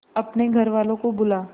अपने घर वालों को बुला